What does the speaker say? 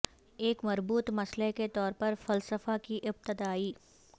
ایک مربوط مسئلہ کے طور پر فلسفہ کی ابتداء